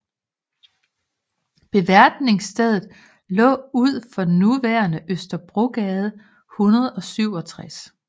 Beværtningsstedet lå ud for nuværende Østerbrogade 167